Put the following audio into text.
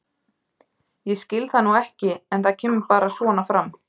Ég skil það nú ekki en það kemur bara svona fram.